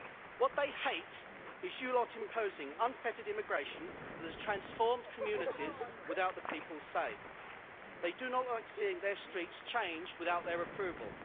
What they hate is you lot imposing unfettered immigration that has transformed communities without the people's say. They do not like seeing their streets changed without their approval.